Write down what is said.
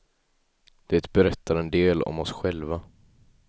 Det berättar en del om oss själva.